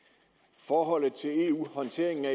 forholdet til eu og håndteringen af